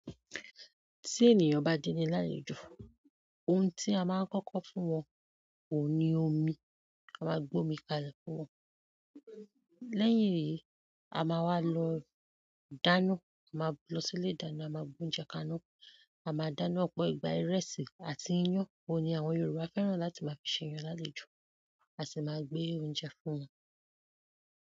Tí ènìyàn bá déni lálejò, ohun tí a máa ń kọ́kọ́ fún wọn òun ni omi, a máa gbé omi kalẹ̀ fún wọn. Lẹ́yìn èyí a máa wá lọ dáná a máa lọ sí ilé ìdáná a máa gbé oúnjẹ kaná, a máa dáná, ọ̀pọ̀ ìgbà ìrẹsì àti iyán. Òun ni àwọn Yorùbá fẹ́ràn láti máa fi ṣèèyàn lálejò, a sì máa gbé oúnjẹ fún wọn.